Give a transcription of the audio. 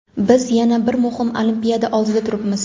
Biz yana bir muhim olimpiada oldida turibmiz.